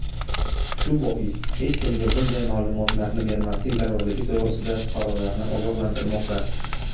shu bois hech kimga bunday ma’lumotlarni bermaslik zarurligi to‘g‘risida fuqarolarni ogohlantirmoqda.